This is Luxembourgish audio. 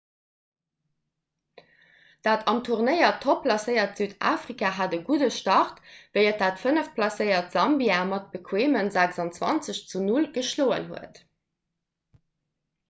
dat am turnéier topp placéiert südafrika hat e gudde start wéi et dat fënneft placéiert sambia mat bequeeme 26 zu 0 geschloen huet